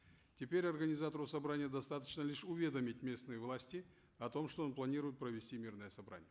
теперь организатору собрания достаточно лишь уведомить местные власти о том что он планирует провести мирное собрание